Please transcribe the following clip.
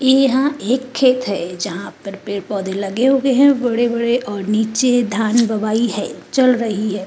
यहाँ एक खेत है जहाँ पर पेड़-पौधे लगे हुए हैं बड़े-बड़े और नीचे धान बुआई हैचल रही है।